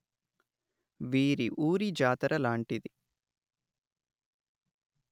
వీరి ఊరి జాతర లాంటిది